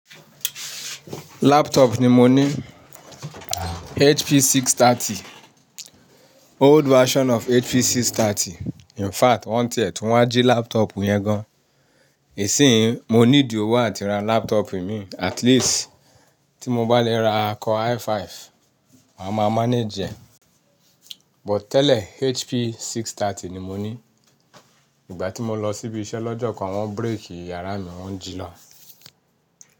Laptop ni mo ní, HP 630, old version of HP 630. In fact, wọ́n ń tiẹ́ tún wá jí laptop yẹn gan. Isìín yi mo need owo áti ra laptop mi, at least tí mo bá lè ra core i5, màá má manage ẹ. But tẹ́lẹ̀ HP 630 ni mo ní. Igba ti mo losi ibi ise lojokan won break yara mi won ji loo.